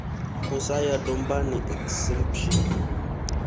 u sa ya dombani exemption